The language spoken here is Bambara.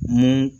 Ni